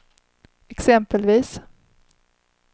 exempelvis